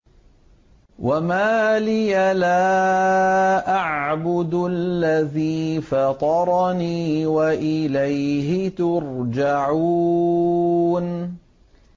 وَمَا لِيَ لَا أَعْبُدُ الَّذِي فَطَرَنِي وَإِلَيْهِ تُرْجَعُونَ